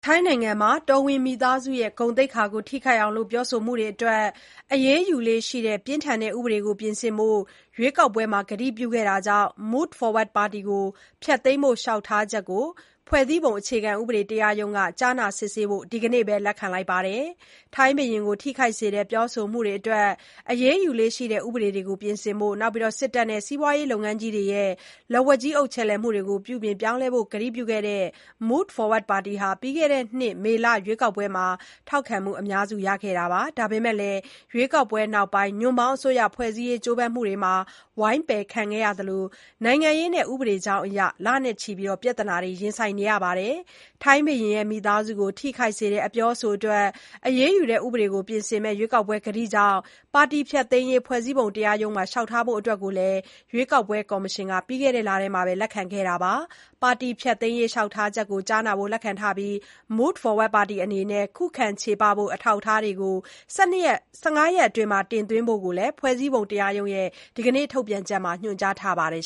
ထိုင်းနိုင်ငံမှာ တော်ဝင်မိသားစု ဂုဏ်သိက္ခာ ထိခိုက်အောင် ပြောဆိုမှုတွေအတွက် အရေးယူလေ့ရှိတဲ့ ပြင်းထန်တဲ့ ဥပဒေတွေကို ပြင်ဆင်ဖို့ ရွေးကောက်ပွဲမှာ ကတိပြုခဲ့တာကြောင့် Move Forward Party ကို ဖျက်သိမ်းဖို့ လျှောက်ထားချက်ကို ဖွဲ့စည်းပုံအခြေခံဥပဒေတရားရုံးက ကြားနာစစ်ဆေးဖို့ ဒီကနေ့ပဲ လက်ခံလိုက်ပါတယ်။ ဘုရင်ကို ထိခိုက်စေတဲ့ ပြောဆိုမှုတွေအတွက် အရေးယူလေ့ရှိတဲ့ ဥပဒေတွေကို ပြင်ဆင်ဖို့၊ စစ်တပ်နဲ့ စီးပွားရေးလုပ်ငန်းကြီးတွေရဲ့ လက်ဝါးကြီးအုပ်မှုတွေကို ပြုပြင်ပြောင်းလဲဖို့ ကတိပြုခဲ့တဲ့ Move Forward Party ဟာ ပြီးခဲ့တဲ့နှစ် မေလ ရွေးကောက်ပွဲမှာ ထောက်ခံမှု အများစု ရခဲ့တာပါ။ ဒါပေမဲ့လည်း ရွေးကောက်ပွဲနောက်ပိုင်း ညွန့်ပေါင်းအစိုးရ ဖွဲ့စည်းရေးကြိုးပမ်းမှုတွေမှာ ဝိုင်းပယ်ခံခဲ့ရသလို၊ နိုင်ငံရေးနဲ့ ဥပဒေကြောင်းအရ လနဲ့ချီ ပြဿနာတွေ ရင်ဆိုင်ခဲ့ရပါတယ်။ ဘုရင်မိသားစုကို ထိခိုက်စေတဲ့ အပြောအဆိုတွေအတွက် အရေးယူတဲ့ ဥပဒေကို ပြင်ဆင်မယ့် ရွေးကောက်ပွဲ ကတိကြောင့် ပါတီကို ဖျက်သိမ်းရေး ဖွဲ့စည်းပုံတရားရုံးမှာ လျှောက်ထားဖို့အတွက်လည်း ရွေးကောက်ပွဲ ကော်မရှင်က ပြီးခဲ့တဲ့ လထဲမှာပဲ လက်ခံခဲ့တာပါ။ ပါတီဖျက်သိမ်းရေး လျှောက်ထားချက်ကို ကြားနာဖို့ လက်ခံထားပြီး Move Forward Party ပါတီ အနေနဲ့ ခုခံချေပဖို့ အထောက်အထားတွေကို ၁၅ ရက်အတွင်း တင်သွင်းဖို့လည်း ဖွဲ့စည်းပုံတရားရုံးရဲ့ ဒီကနေ့ထုတ်ပြန်ချက်မှာ ညွှန်ကြားထားပါတယ်